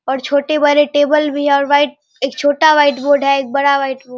और छोटे-बड़े टेबल भी है और वाइट एक छोटा वाइट बोर्ड है एक बड़ा वाइट बो --